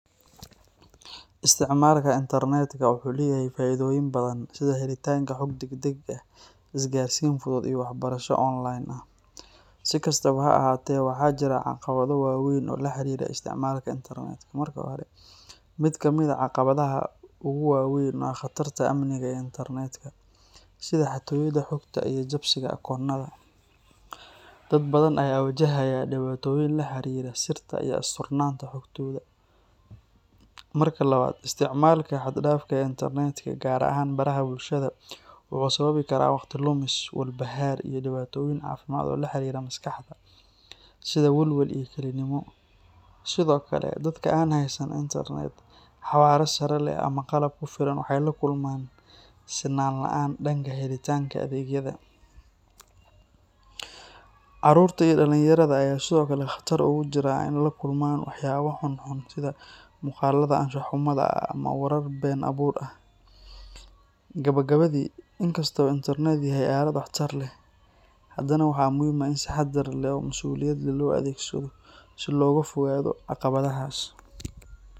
Isticmaalka internetka wuxuu leeyahay faa’iidooyin badan, sida helitaanka xog degdeg ah, isgaarsiin fudud, iyo waxbarasho online ah. Si kastaba ha ahaatee, waxaa jira caqabado waaweyn oo la xiriira isticmaalka internetka. Marka hore, mid ka mid ah caqabadaha ugu waa weyn waa khatarta amniga ee internetka, sida xatooyada xogta iyo jabsiga akoonnada. Dad badan ayaa wajahaya dhibaatooyin la xiriira sirta iyo asturnaanta xogtooda. Marka labaad, isticmaalka xad-dhaafka ah ee internetka, gaar ahaan baraha bulshada, wuxuu sababi karaa waqti lumis, walbahaar, iyo dhibaatooyin caafimaad oo la xiriira maskaxda, sida walwal iyo kelinimo. Sidoo kale, dadka aan haysan internet xawaare sare leh ama qalab ku filan waxay la kulmaan sinaan la’aan dhanka helitaanka adeegyada. Caruurta iyo dhallinyarada ayaa sidoo kale khatar ugu jira in ay la kulmaan waxyaabo xunxun sida muuqaalada anshax-xumada ah ama warar been abuur ah. Gabagabadii, inkasta oo internetku yahay aalad waxtar leh, haddana waxaa muhiim ah in si taxadar leh oo masuuliyad leh loo adeegsado si looga fogaado caqabadahaas.